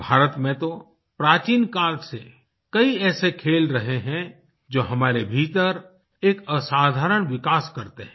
भारत में तो प्रचीन काल से कई ऐसे खेल रहे हैं जो हमारे भीतर एक असाधारण विकास करते हैं